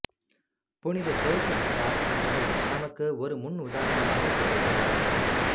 புனித ஜோசப் வாஸ் அவர்கள் நமக்கு ஒரு முன் உதாரணமாகத் திகழ்கின்றார்